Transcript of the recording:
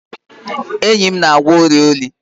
Enyi m na-agwọ ọrịa oyi